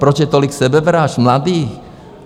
Proč je tolik sebevražd mladých?